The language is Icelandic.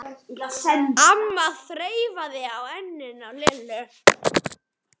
amma þreifaði á enninu á Lillu.